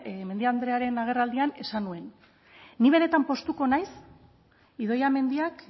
mendia andrearen agerraldian esan nuen ni benetan poztuko naiz idoia mendiak